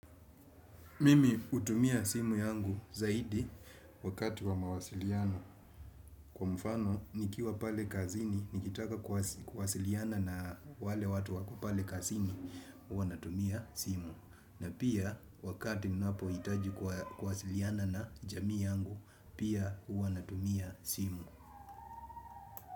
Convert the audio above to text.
Mimi hutumia simu yangu zaidi wakati wa mawasiliano. Kwa mfano, nikiwa pale kazini, nikitaka kuwasiliana na wale watu wako pale kazini, huwa natumia simu. Na pia, wakati ninapohitaji kuwasiliana na jamii yangu, pia huwa natumia simu.